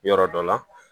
Yɔrɔ dɔ la